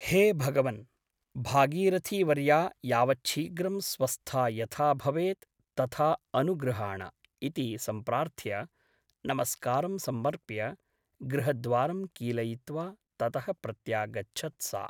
हे भगवन् ! भागीरथीवर्या यावच्छीघ्रं स्वस्था यथा भवेत् तथा अनुगृहाण ' इति सम्प्रार्थ्य नमस्कारं समर्प्य गृहद्वारं कीलयित्वा ततः प्रत्यागच्छत् सा ।